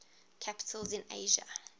capitals in asia